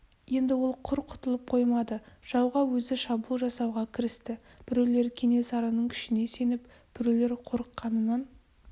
енді ол құр құтылып қоймады жауға өзі шабуыл жасауға кірісті біреулер кенесарының күшіне сеніп біреулер қорыққанынан